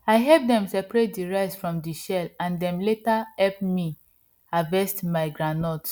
i help dem seperate the rice from the shell and dem later help me harvest my groundnut